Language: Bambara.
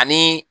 Ani